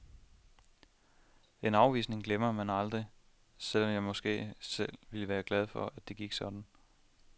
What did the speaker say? En afvisning glemmer man aldrig, selv om jeg måske skal være glad for, at det gik sådan.